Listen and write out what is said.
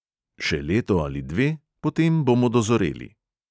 Še leto ali dve, potem bomo dozoreli.